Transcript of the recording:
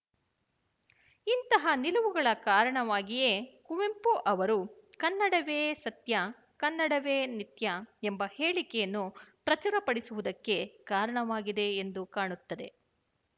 ಇಂತಹ ನಿಲುವುಗಳ ಕಾರಣವಾಗಿಯೇ ಕುವೆಂಪು ಅವರು ಕನ್ನಡವೇ ಸತ್ಯ ಕನ್ನಡವೇ ನಿತ್ಯ ಎಂಬ ಹೇಳಿಕೆಯನ್ನು ಪ್ರಚುರಪಡಿಸುವುದಕ್ಕೆ ಕಾರಣವಾಗಿದೆ ಎಂದು ಕಾಣುತ್ತದೆ